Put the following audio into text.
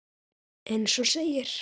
Eins og segir.